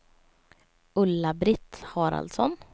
Ulla-Britt Haraldsson